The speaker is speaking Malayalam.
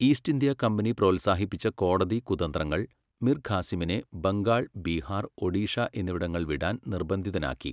ഈസ്റ്റ് ഇന്ത്യാ കമ്പനി പ്രോത്സാഹിപ്പിച്ച കോടതി കുതന്ത്രങ്ങൾ മിർ ഖാസിമിനെ ബംഗാൾ, ബീഹാർ, ഒഡീഷ എന്നിവിടങ്ങൾ വിടാൻ നിർബന്ധിതനാക്കി.